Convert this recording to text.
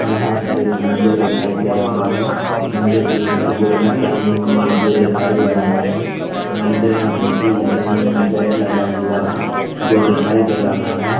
यहाँ पर एक मंदिर दिखाई दे रहा है। मंदिर के ऊपर गुम्बट बनी हुई हैं जो दिखाई दे रही हैं। मंदिर में घंटी लगी हुई हैं गेट लगा हुआ है जो दिखाई दे रहा है।